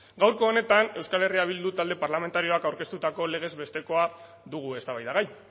gaurko honetan euskal herria bildu talde parlamentarioak aurkeztutako legez bestekoa dugu eztabaidagai